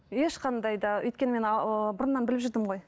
ешқандай да өйткені мен ааа бұрыннан біліп жүрдім ғой